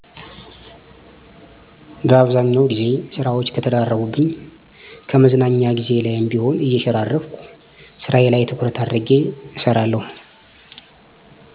በአብዛኛው ግዜ ስራወች ከተደራረቡብኝ ከመዝናኛ ግዜየ ላይም ቢሆን እየሸራረፍኩ ስራየ ላይ ትኩረት አድርጌ እሰራለሁ።